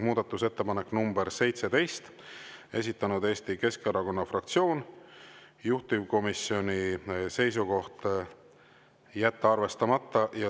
Muudatusettepanek nr 17, esitanud Eesti Keskerakonna fraktsioon, juhtivkomisjoni seisukoht on jätta arvestamata.